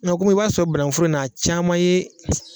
Mɛ kɔmi i b'a sɔrɔ banankun foro in na a caman ye